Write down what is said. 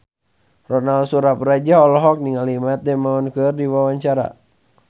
Ronal Surapradja olohok ningali Matt Damon keur diwawancara